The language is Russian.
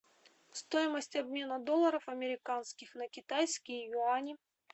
стоимость обмена долларов американских на китайские юани